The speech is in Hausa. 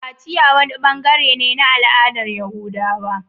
Kaciya wani bangare ne na al'adar Yahudawa.